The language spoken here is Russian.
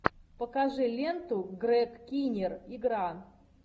покажи ленту грег киннир игра